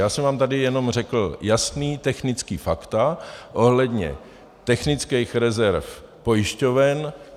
Já jsem vám tady jenom řekl jasná technická fakta ohledně technických rezerv pojišťoven.